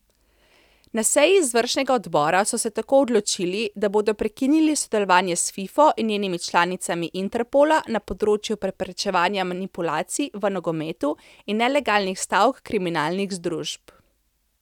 Na seji izvršnega odbora so se tako odločili, da bodo prekinili sodelovanje s Fifo in njenimi članicami Interpola na področju preprečevanja manipulacij v nogometu in nelegalnih stav kriminalnih združb.